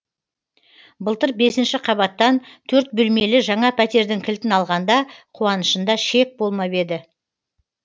былтыр бесінші қабаттан төрт бөлмелі жаңа пәтердің кілтін алғанда қуанышында шек болмап еді